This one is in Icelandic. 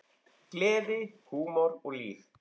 Gleði, húmor og líf.